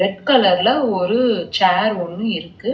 Red கலர்ல ஒரு chair ஒன்னு இருக்கு.